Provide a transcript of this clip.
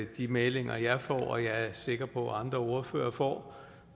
de meldinger jeg får og som jeg er sikker på andre ordførere får